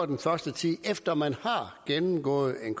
den første tid efter at man har gennemgået en